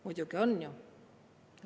Muidugi on!